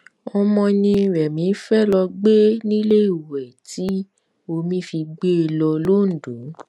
ọmọ ni remi fee lọọ gbé níléèwé tí omi fi gbé e lọ londo